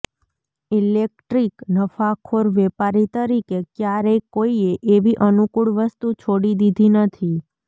electric નફાખોર વેપારી તરીકે ક્યારેય કોઈએ એવી અનુકૂળ વસ્તુ છોડી દીધી નથી